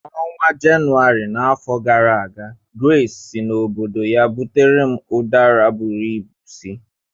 N'ọnwa Jenụwarị n'afọ gara aga, Grace si n'obodo ya butere m Udara bụrụ ịbụ si.